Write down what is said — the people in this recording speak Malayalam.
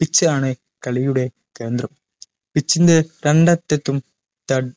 pitch ആണ് കളിയുടെ കേന്ദ്രം pitch ൻറെ രണ്ടറ്റത്തും തട്